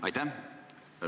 Aitäh!